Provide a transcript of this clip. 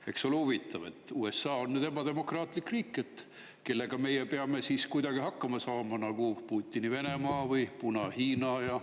Eks ole huvitav, et USA on nüüd ebademokraatlik riik, kellega meie peame kuidagi hakkama saama nagu Putini Venemaa või Puna-Hiinaga.